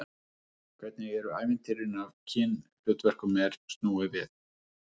Hvernig eru ævintýrin ef kynhlutverkum er snúið við?